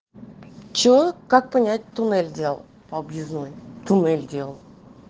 че как понять туннель делал по объездной туннель делал